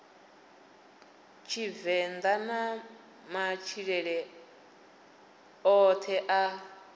tshivenḓa na matshilele oṱhe a